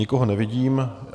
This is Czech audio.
Nikoho nevidím.